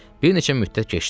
Bir neçə müddət keçdi.